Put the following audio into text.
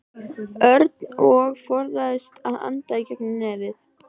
Örn og forðaðist að anda í gegnum nefið.